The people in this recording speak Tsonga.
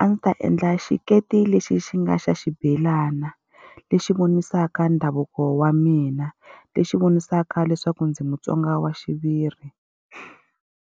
a ndzi ta endla xiketi lexi xi nga xa xibelana. Lexi vonisaka ndhavuko wa mina, lexi vonisaka leswaku ndzi muTsonga wa xiviri.